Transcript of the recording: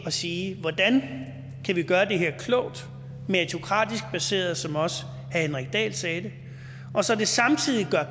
at sige hvordan kan vi gøre det her klogt og meritokratisk baseret som også herre henrik dahl sagde det og så det samtidig gør